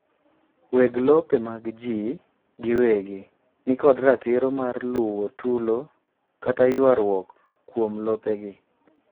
weg lope mag jii giwegi nikod ratiro mar luwo tulo kata ywaruok kuomlopegi